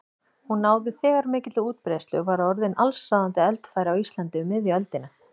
Hún náði þegar mikilli útbreiðslu og var orðin allsráðandi eldfæri á Íslandi um miðja öldina.